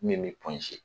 Min bɛ